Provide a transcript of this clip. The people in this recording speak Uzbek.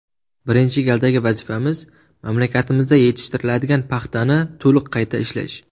Birinchi galdagi vazifamiz mamlakatimizda yetishtiriladigan paxtani to‘liq qayta ishlash.